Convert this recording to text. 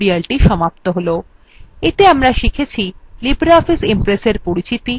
এতে আমরা শিখেছিlibreoffice impress এর পরিচিতি